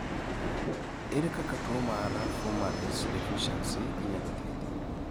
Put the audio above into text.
ere kaka tuo mar fumarace deficiency inyalo thiedhi?